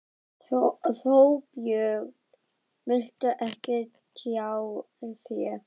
Þorbjörn: Viltu ekki tjá þig?